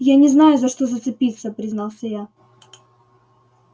я не знаю за что зацепиться признался я